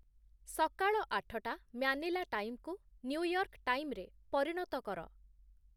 ସକାଳ ଆଠଟା ମ୍ୟାନିଲା ଟାଇମ୍‌କୁ ନ୍ୟୁୟର୍କ୍‌ ଟାଇମ୍‌ରେ ପରିଣତ କର